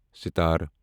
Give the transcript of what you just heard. ستار